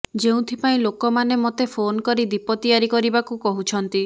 ଯେଉଁଥିପାଇଁ ଲୋକମାନେ ମୋତେ ଫୋନ୍ କରି ଦୀପ ତିଆରି କରିବାକୁ କହୁଛନ୍ତି